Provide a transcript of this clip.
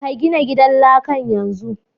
Ka gina gidan lakan yanzu!